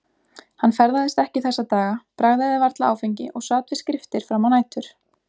Hann ferðaðist ekki þessa daga, bragðaði varla áfengi og sat við skriftir fram á nætur.